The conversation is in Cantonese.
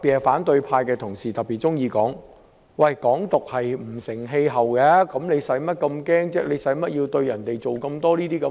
反對派同事特別喜歡說，"港獨"不成氣候，用不着這麼害怕，用不着小題大做。